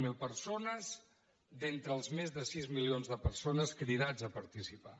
zero d’entre els més de sis milions de persones cridats a participar